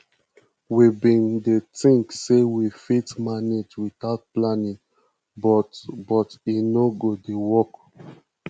we bin dey tink sey we fit manage witout planning but but e no dey work